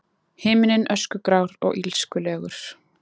Himinninn öskugrár og illskulegur.